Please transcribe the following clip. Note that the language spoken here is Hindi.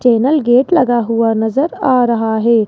चैनल गेट लगा हुआ नजर आ रहा है।